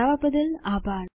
અમને જોડાવા બદ્દલ આભાર